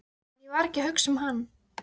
En ég var ekki að hugsa um hann.